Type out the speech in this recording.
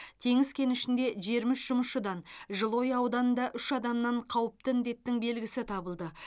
теңіз кенішінде жиырма үш жұмысшыдан жылыой ауданында үш адамнан қауіпті індеттің белгісі табылды